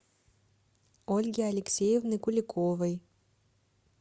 ольги алексеевны куликовой